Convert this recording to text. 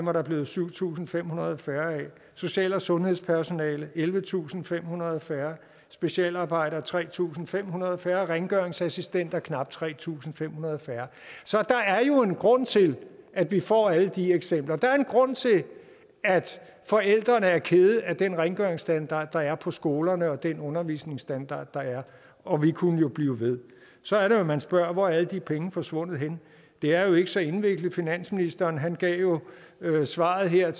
er der blevet syv tusind fem hundrede færre social og sundhedspersonale ellevetusinde og femhundrede færre specialarbejdere tre tusind fem hundrede færre rengøringsassistenter knap tre tusind fem hundrede færre så der er jo en grund til at vi får alle de eksempler der er en grund til at forældrene er kede af den rengøringsstandard der er på skolerne og den undervisningsstandard der er og vi kunne jo blive ved så er det man spørger hvor er alle de penge er forsvundet hen det er jo ikke så indviklet finansministeren gav svaret her